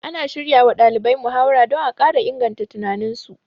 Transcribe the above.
Ana shiryawa ɗalibai muhawara don a ƙara inganta tunaninsu